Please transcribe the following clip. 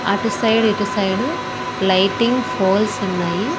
అటు సైడ్ ఇటు side lighting poles ఉన్నాయి.